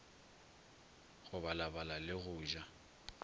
go balabala le go ja